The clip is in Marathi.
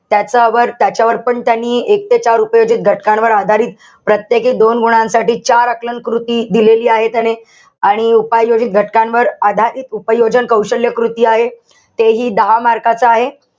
त्याच्यावर त्याच्यावर पण त्यांनी एक ते चार उपयोजित घटकांवर आधारित प्रत्येकी दोन गुणांसाठी चार आकलनकृती दिलेली आहे त्यांनी. आणि उपाययोजित घटकांवर आधारित उपयोजन कौशल्यकृती आहे. ते हि दहा mark च आहे.